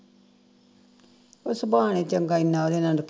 ਉਹ ਸੁਭਾਅ ਨੇ ਚੰਗਾ